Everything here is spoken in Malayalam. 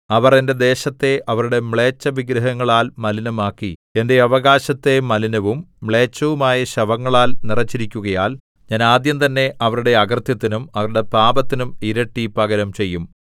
അവർ എന്റെ ദേശത്തെ അവരുടെ മ്ലേച്ഛവിഗ്രഹങ്ങളാൽ മലിനമാക്കി എന്റെ അവകാശത്തെ മലിനവും മ്ളേച്ഛവുമായ ശവങ്ങളാൽ നിറച്ചിരിക്കുകയാൽ ഞാൻ ആദ്യം തന്നെ അവരുടെ അകൃത്യത്തിനും അവരുടെ പാപത്തിനും ഇരട്ടി പകരം ചെയ്യും